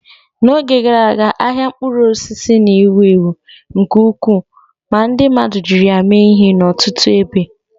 N'oge gara aga, ahịa mkpụrụ osisi na-ewu ewu nke ukwuu ma ndi mmadu jiri ya mee ihe n'ọtụtụ ebe.